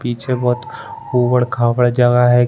पीछे बहुत उबड़-खाबड़ जगह है।